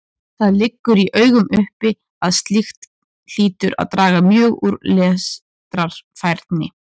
Það liggur í augum uppi að slíkt hlýtur að draga mjög úr lestrarfærni.